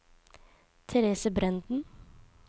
Therese Brenden